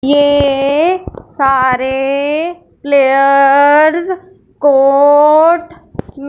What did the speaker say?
ये सारे players court --